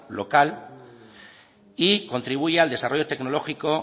local y contribuye al desarrollo tecnológico